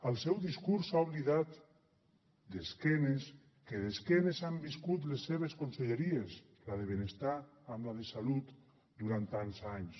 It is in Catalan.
al seu discurs s’ha oblidat que d’esquena han viscut les seves conselleries la de benestar amb la de salut durant tants anys